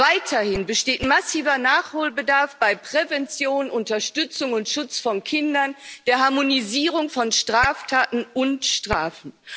Weiterhin besteht massiver Nachholbedarf bei Prävention, Unterstützung und Schutz von Kindern, der Harmonisierung von Straftaten und Strafen.